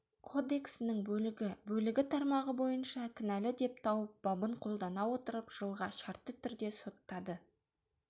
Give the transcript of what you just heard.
кодексінің бөлігі бөлігі тармағы бойынша кінәлі деп тауып бабын қолдана отырып жылға шартты түрде соттады